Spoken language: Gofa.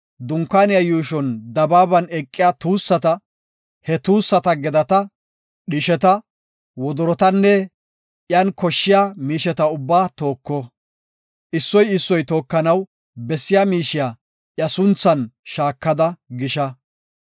Dunkaaniya yuushon dabaaban eqiya tuussata, he tuussata gedata, dhisheta, wodorotanne iyan koshshiya miisheta ubbaa tooko. Issoy issoy tookanaw bessiya miishiya iya sunthan shaakada gisha.